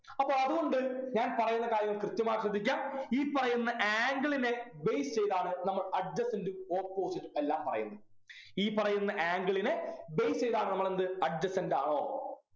അപ്പൊ അതുകൊണ്ട് ഞാൻ പറയുന്ന കാര്യങ്ങൾ കൃത്യമായി ശ്രദ്ധിക്ക ഇ പറയുന്ന Angle നെ base ചെയ്താണ് നമ്മൾ adjacent ഉം opposite ഉം എല്ലാം പറയുന്നത് ഈ പറയുന്ന Angle നെ base ചെയ്താണ് നമ്മൾ എന്ത് adjacent ആണോ